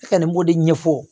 Ne kɔni b'o de ɲɛfɔ